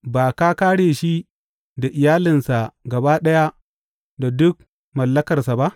Ba ka kāre shi da iyalinsa gaba ɗaya da duk mallakarsa ba?